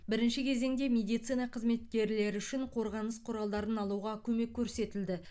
бірінші кезеңде медицина қызметкерлері үшін қорғаныс құралдарын алуға көмек көрсетілді